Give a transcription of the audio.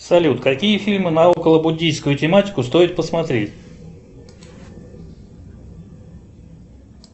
салют какие фильмы на около буддийскую тематику стоит посмотреть